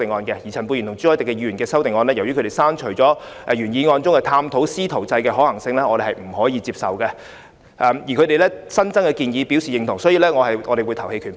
至於陳沛然議員和朱凱廸議員的修正案，由於他們刪除了原議案中的探討"師徒制"的可行性的建議，我們是無法接受的，但對他們新增的建議表示認同，所以我們會表決棄權。